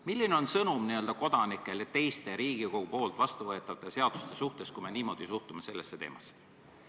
Milline on kodanikele antav sõnum teiste Riigikogus vastuvõetavate seaduste kohta, kui me niimoodi sellesse teemasse suhtume?